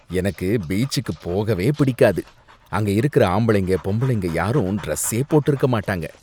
எனக்கு பீச்சுக்கு போகவே பிடிக்காது. அங்க இருக்கற ஆம்பளைங்க பொம்பளைங்க யாரும் டிரெஸ்ஸே போட்டிருக்க மாட்டாங்க